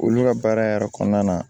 Olu ka baara yɛrɛ kɔnɔna na